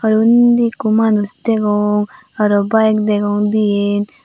aro undi ekku manuj degong aro bike degong dian.